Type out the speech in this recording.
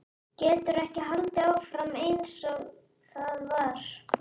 Getur ekki haldið áfram einsog það var.